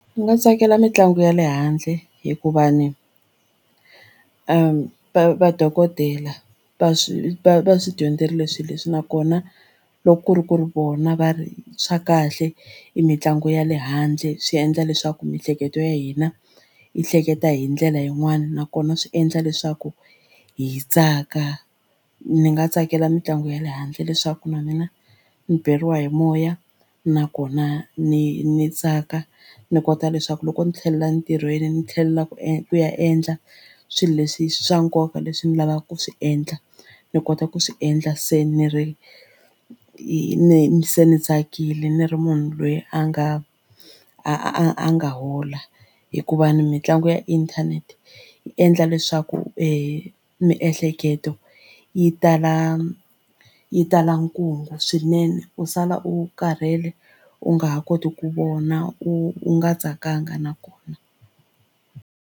Ni nga tsakela mitlangu ya le handle hikuva ni vadokodela va swi va va swi dyondzerile swilo leswi nakona loko ku ri ku ri vona va ri swa kahle i mitlangu ya le handle swi endla leswaku miehleketo ya hina yi hleketa hi ndlela yin'wani nakona swi endla leswaku hi tsaka ni nga tsakela mitlangu ya le handle leswaku na mina ni beriwa hi moya nakona ni ni tsaka ndzi kota leswaku loko ndzi tlhelela ntirhweni ni tlhelela ku ku ya endla swilo leswi swa nkoka leswi ndzi lavaka ku swi endla ni kota ku swi endla se ni ri se ni tsakile ni ri munhu loyi a nga a a nga hola hikuva mitlangu ya inthanete yi endla leswaku i miehleketo yi tala yi tala swinene u sala u karhele u nga ha koti ku vona u u nga tsakanga na kona.